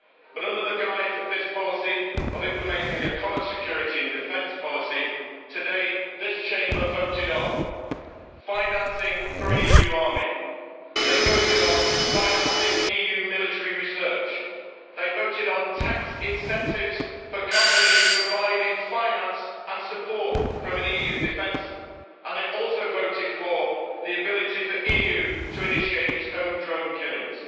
But, under the guise of this policy of implementing a common security and defence policy, today this Chamber voted on financing for an EU army, they voted on financing EU military research, it voted on tax incentives for companies providing finance and support for EU defence, and it also voted for the ability for the EU to initiate its own drone killings.